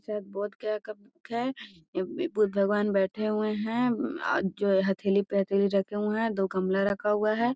शायद बोधगया का बुक है ये बुद्ध भगवन बैठे हुए हैं आ जो हथेली पे हथेली रखे हुए है दो गमला रखा हुआ है।